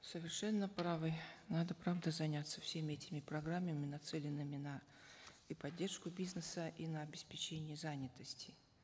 совершенно правы надо правда заняться всеми этими программами нацеленными на и поддержку бизнеса и на обеспечение занятости